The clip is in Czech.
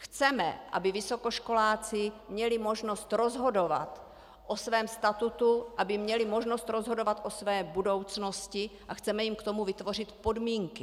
Chceme, aby vysokoškoláci měli možnost rozhodovat o svém statutu, aby měli možnost rozhodovat o své budoucnosti, a chceme jim k tomu vytvořit podmínky.